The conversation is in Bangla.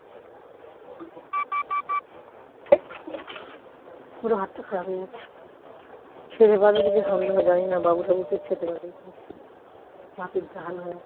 পুরো ভাতটা খারাপ হয়ে গেছে খেতে পারবে কিনা সন্দেহ জানিনা বাবু টাবু খেতে পারবে কিনা মাছের ঝাল হয়েছে